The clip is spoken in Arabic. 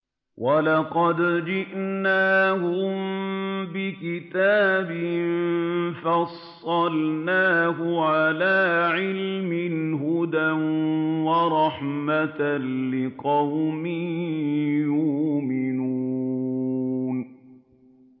وَلَقَدْ جِئْنَاهُم بِكِتَابٍ فَصَّلْنَاهُ عَلَىٰ عِلْمٍ هُدًى وَرَحْمَةً لِّقَوْمٍ يُؤْمِنُونَ